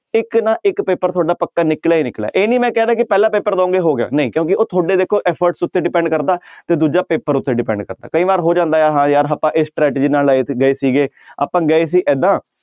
ਇੱਕ ਨਾ ਇੱਕ ਪੇਪਰ ਤੁਹਾਡਾ ਪੱਕਾ ਨਿਕਲਿਆ ਹੀ ਨਿਕਲਿਆ ਇਹ ਨੀ ਮੈਂ ਕਹਿ ਰਿਹਾ ਕਿ ਪਹਿਲਾ ਪੇਪਰ ਦਓਗੇ ਹੋ ਗਿਆ ਨਹੀਂ ਕਿਉਂਕਿ ਉਹ ਤੁਹਾਡੇ ਦੇਖੋ efforts ਉੱਤੇ depend ਕਰਦਾ ਤੇ ਦੂਜਾ ਪੇਪਰ ਉੱਤੇ depend ਕਰਦਾ ਕਈ ਵਾਰ ਹੋ ਜਾਂਦਾ ਹੈ ਹਾਂ ਯਾਰ ਆਪਾਂ ਇਸ strategy ਨਾਲ ਸੀਗੇ ਆਪਾਂ ਗਏ ਸੀ ਏਦਾਂ